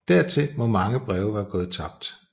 Dertil må mange breve være gået tabt